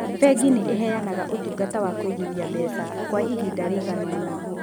Bengi nĩ ĩheanaga ũtungata wa kũigithia mbeca kwa ihinda rĩgana ũna.